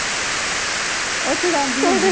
ਓਹ ਛੁਡਾਂਦੀ ਰਹੀ